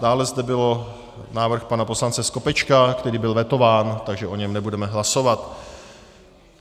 Dále zde byl návrh pana poslance Skopečka, který byl vetován, takže o něm nebudeme hlasovat.